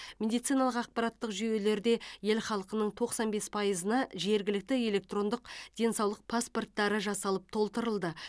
медициналық ақпараттық жүйелерде ел халқының тоқсан бес пайызына жергілікті электрондық денсаулық паспорттары жасалып толтырылды